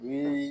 Ni